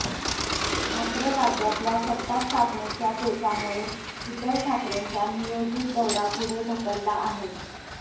मात्र राज्यातल्या सत्तास्थापनेच्या पेचामुळे उद्धव ठाकरेंचा नियोजित दौरा पुढे ढकलला आहे